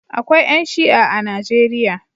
Akwai ƴan Shi'a a Najeriya.